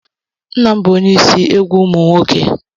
Nna m bụ ónyé ịsị egwu ụmụ nwoke.